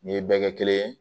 Nin ye bɛɛ kɛ kelen ye